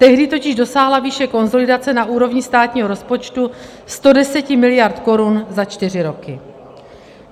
Tehdy totiž dosáhla výše konsolidace na úrovni státního rozpočtu 110 mld. korun za čtyři roky.